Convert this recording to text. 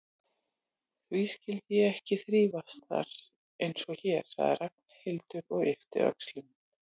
Því skyldi ég ekki þrífast þar einsog hér? sagði Ragnhildur og yppti öxlum.